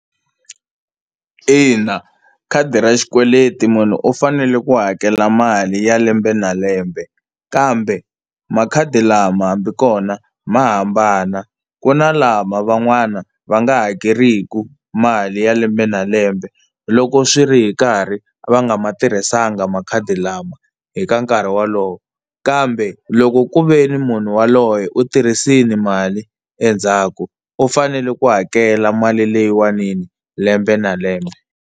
Ina khadi ra xikweleti munhu u fanele ku hakela mali ya lembe na lembe kambe makhadi lama hambi kona ma hambana, ku na lama van'wana va nga hakeriki mali ya lembe na lembe loko swi ri hi nkarhi va nga ma tirhisanga makhadi lama hi nkarhi wolowo. Kambe loko ku ve ni munhu yaloye u tirhisile mali endzhaku u fanele ku hakela mali leyiwani lembe na lembe.